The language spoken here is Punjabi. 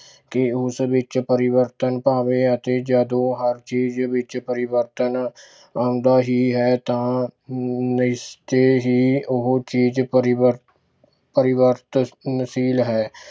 ਕਿ ਉਸ ਵਿੱਚ ਪਰਿਵਰਤਨ ਭਾਵੇਂ ਜਦੋਂ ਹਰ ਚੀਜ਼ ਵਿੱਚ ਪਰਿਵਰਤਨ ਆਉਂਦਾ ਹੀ ਰਹੇ ਤਾਂ ਨਿਸ਼ਚੈ ਹੀ ਉਹ ਚੀਜ਼ ਪਰਿਵਰ~ ਪਰਿਵਰਤਨਸ਼ੀਲ ਹੈ।